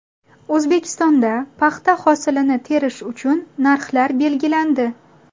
O‘zbekistonda paxta hosilini terish uchun narxlar belgilandi.